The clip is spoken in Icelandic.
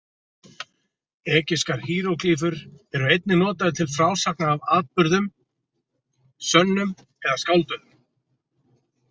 Egypskar híeróglýfur eru einnig notaðar til frásagna af atburðum, sönnum eða skálduðum.